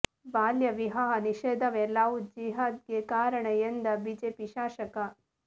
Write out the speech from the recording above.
ಬಾಲ್ಯ ವಿವಾಹ ನಿಷೇಧವೇ ಲವ್ ಜಿಹಾದ್ಗೆ ಕಾರಣ ಎಂದ ಬಿಜೆಪಿ ಶಾಸಕ